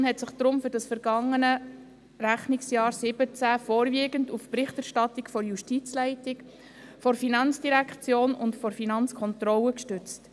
Die JuKo hat sich deshalb für das vergangene Rechnungsjahr 2017 vorwiegend auf die Berichterstattung der Justizleitung, der FIN und der FK gestützt.